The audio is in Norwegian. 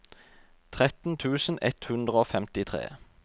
tretten tusen ett hundre og femtitre